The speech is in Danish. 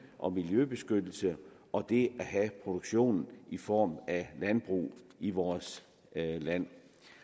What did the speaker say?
og miljøbeskyttelse og det at have produktion i form af landbrug i vores land